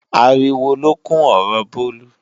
Ariwo lókún ọ̀rọ Bólú.